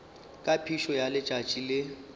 ka phišo ya letšatši le